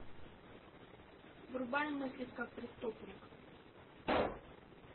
врубай мыслить как преступник